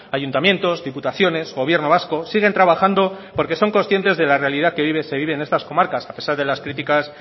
ayuntamientos diputaciones gobierno vasco siguen trabajando porque son conscientes de la realidad que se vive en estas comarcas a pesar de las críticas